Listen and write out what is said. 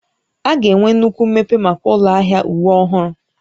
A ga-enwe nnukwu mmepe maka ụlọ ahịa uwe ọhụrụ